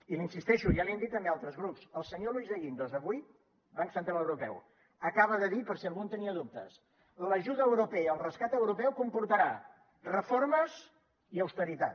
i hi insisteixo ja l’hi han dit també altres grups el senyor luis de guindos avui banc central europeu acaba de dir per si algú en tenia dubtes que l’ajuda europea el rescat europeu comportarà reformes i austeritat